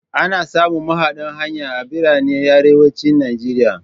Ana samun mahaɗan hanya a biranen arewacin Nigeria.